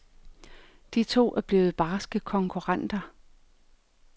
De to er blevet barske konkurrenter.